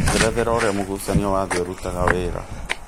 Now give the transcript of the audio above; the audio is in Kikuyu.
njerethera ũrĩa mũgucanio wa thĩ ũrũtanga wĩra